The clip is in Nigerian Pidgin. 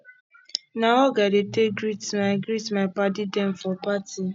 na hug i dey take greet my greet my paddy dem for party